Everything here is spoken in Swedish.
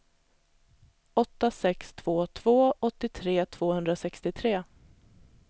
åtta sex två två åttiotre tvåhundrasextiotre